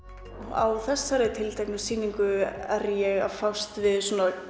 á þessari tilteknu sýningu er ég að fást við